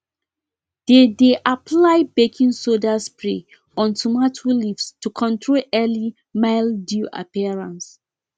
dey dey apply baking soda spray on tomato leaves to control early mildew appearance